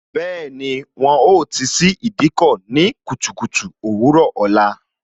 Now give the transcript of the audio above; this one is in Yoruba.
Bẹẹni, wọn ó ti ṣí Ìdíkọ̀ ní kùtùkùtù òwúrò ọ̀la